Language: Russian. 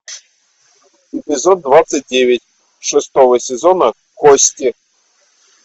эпизод двадцать девять шестого сезона кости